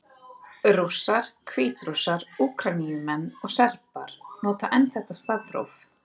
Rússar, Hvítrússar, Úkraínumenn og Serbar nota enn þetta stafróf.